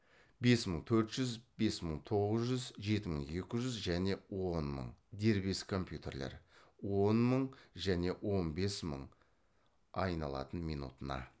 бес мың төрт жүз бес мың тоғыз жүз жеті мың екі жүз және он мың он мың және он бес мың айналатын минутына